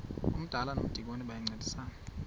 umdala nomdikoni bayancedisana